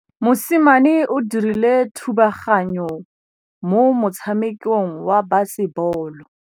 Mosimane o dirile thubaganyô mo motshamekong wa basebôlô.